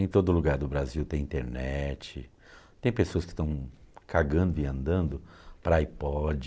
Em todo lugar do Brasil tem internet, tem pessoas que estão cagando e andando para iPod,